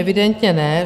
Evidentně ne.